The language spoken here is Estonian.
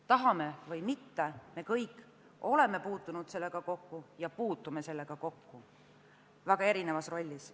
Tahame või mitte, me kõik oleme puutunud või millalgi puutume sellega kokku väga erinevas rollis.